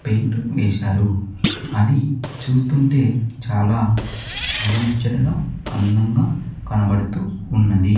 Paint వేశారు అది చూస్తుంటే చాలా చూడముచ్చటగా అందంగా కనబడుతూ ఉన్నది.